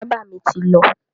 Bábà mi ti lọ.